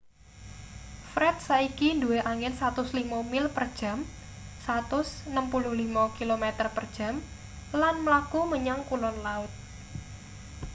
fred saiki duwe angin 105 mil per jam 165 km/j lan mlaku menyang kulon laut